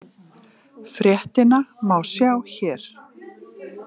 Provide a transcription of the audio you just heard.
Fréttina má sjá hér.